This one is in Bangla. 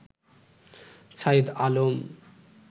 শাহেদ আলম